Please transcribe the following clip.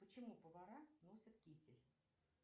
почему повара носят китель